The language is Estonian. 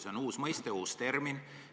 See on uus mõiste, uus termin.